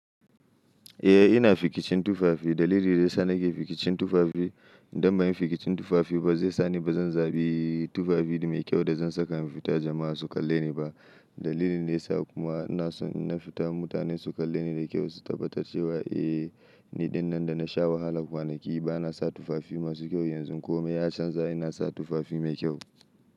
Eh ina fikicin tufafi. Dalilin da ya sa nake fikicin tufafi idan ba yi fikicin tufafi ba zai sa ni ba zan zabi tufafi mai kyau da zan saka in fita jama'a su kalle ni ba. Dalilin ne ya sa kuma ina so in na fita mutane su kalle ni da kyau su tabbatar cewa eh ni ɗinnan da na sha wahala kwanaki ba na sa tufafi masu kyau yanzu komai ya canza ina sa tufafi mai kyau.